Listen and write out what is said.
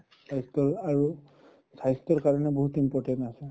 স্বাস্থ্য়ৰ আৰু স্বাস্থ্য়ৰ কাৰণে বহুত important আছে